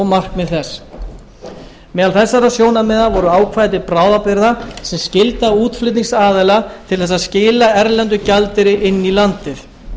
markmið þess meðal þessara sjónarmiða voru ákvæði til bráðabirgða sem skylda útflutningsaðila til þess að skila erlendum gjaldeyri inn í landið